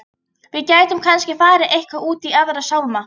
Við gætum kannski farið eitthvað út í Aðra sálma.